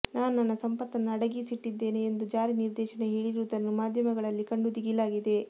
ನಾನು ನನ್ನ ಸಂಪತ್ತನ್ನು ಅಡಗಿಸಿಟ್ಟಿದ್ದೇನೆ ಎಂದು ಜಾರಿ ನಿರ್ದೇಶನ ಹೇಳಿರುವುದನ್ನು ಮಾಧ್ಯಮಗಳಲ್ಲಿ ಕಂಡು ದಿಗಿಲಾಗಿದೆ